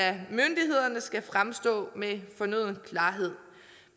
er skal fremstå med fornøden klarhed